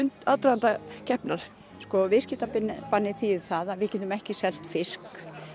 aðdraganda keppninnar sko viðskiptabannið þýðir það að við getum ekki selt fisk